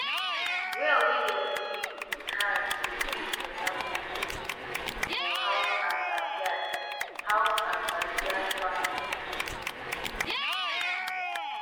well wey dey dig with hand dey give water for both use for house and backyard house and backyard farm need